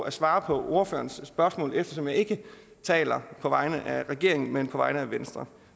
et svar på ordførerens spørgsmål eftersom jeg ikke taler på vegne af regeringen men på vegne af venstre